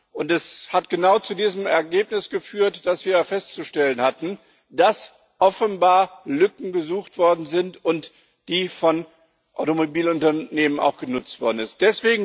Und das hat genau zu diesem Ergebnis geführt, dass wir festzustellen hatten, dass offenbar Lücken gesucht worden sind und die von Automobilunternehmen auch genutzt worden sind.